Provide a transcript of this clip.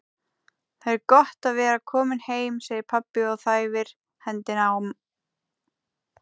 Það er gott að vera kominn heim, segir pabbi og þæfir hendina á